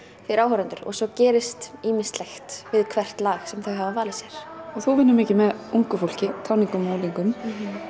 fyrir áhorfendur og svo gerist ýmislegt við hvert lag sem þau hafa valið sér þú vinnur mikið með ungu fólki táningum og unglingum